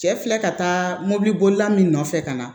Cɛ filɛ ka taa mobili bolila min nɔfɛ ka na